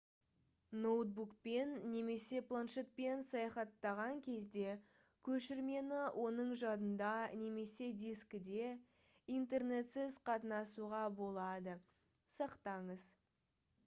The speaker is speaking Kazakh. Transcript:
ноутбукпен немесе планшетпен саяхаттаған кезде көшірмені оның жадында немесе дискіде интернетсіз қатынасуға болады сақтаңыз